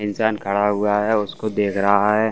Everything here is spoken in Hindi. इंसान खड़ा हुआ है उसको देख रहा है।